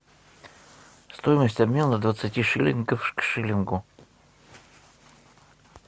стоимость обмена двадцати шиллингов к шиллингу